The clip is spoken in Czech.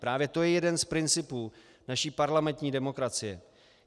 Právě to je jeden z principů naší parlamentní demokracie.